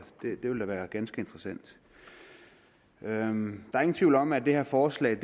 det vil da være ganske interessant der er ingen tvivl om at det her forslag